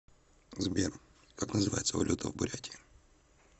сбер как называется валюта в бурятии